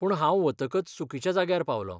पूण हांव वतकच चुकिच्या जाग्यार पावलों.